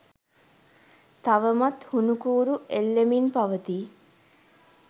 තවමත් හුණු කූරු එල්ලෙමින් පවතී